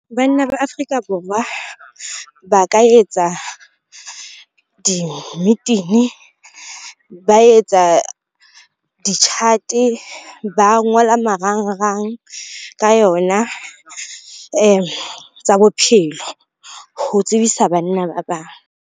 Banna ba Afrika Borwa, ba ka etsa dimmitini, ba etsa di-chart-e, ba ngola marangrang ka yona tsa bophelo ho tsebisa banna ba bang.